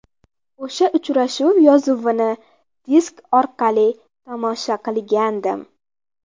O‘sha uchrashuv yozuvini disk orqali tomosha qilgandim.